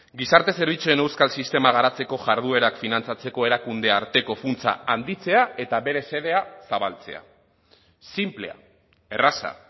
gizarte zerbitzuen euskal sistema garatzeko jarduerak finantzatzeko erakunde arteko funtsa handitzea eta bere xedea zabaltzea sinplea erraza